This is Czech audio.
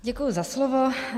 Děkuji za slovo.